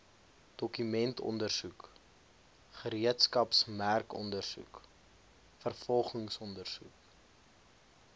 dokumentondersoek gereedskapsmerkondersoek vervolgingsondersoek